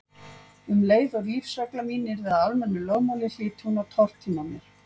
Um leið og lífsregla mín yrði að almennu lögmáli hlyti hún að tortíma mér.